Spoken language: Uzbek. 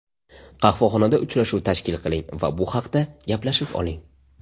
Qahvaxonada uchrashuv tashkil qiling va bu haqda gaplashib oling.